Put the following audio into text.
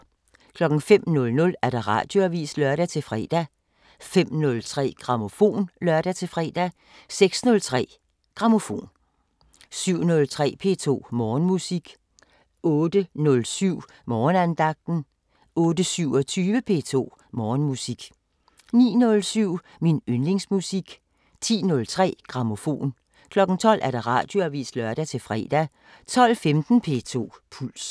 05:00: Radioavisen (lør-fre) 05:03: Grammofon (lør-fre) 06:03: Grammofon 07:03: P2 Morgenmusik 08:07: Morgenandagten 08:27: P2 Morgenmusik 09:07: Min yndlingsmusik 10:03: Grammofon 12:00: Radioavisen (lør-fre) 12:15: P2 Puls